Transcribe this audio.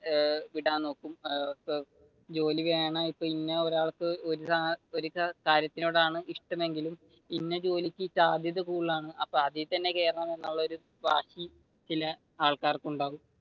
ഏർ ജോലി വേണം ഇപ്പൊ ഇന ഒരാൾക്ക് ഒരു കാർകാര്യത്തിനോടാണ് ഇഷ്ടമെങ്കിലും ഇന്ന ജോലിക്ക് സാധ്യത കൂടുതലാണ് അതിൽ തന്നെ കേറണം എന്നുള്ള ഒരു ചില ആൾക്കാർക്ക് ഉണ്ടാവും